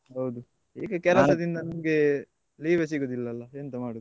ಹೌದು ಈಗ ಕೆಲಸದಿಂದ ನಿಂಗೆ leave ಯೇ ಸಿಗುದಿಲ್ಲಲ್ಲಾ ಎಂತ ಮಾಡುದು.